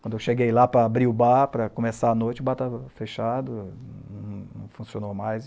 Quando eu cheguei lá para abrir o bar, para começar a noite, o bar estava fechado, não funcionou mais.